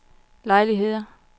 lejligheder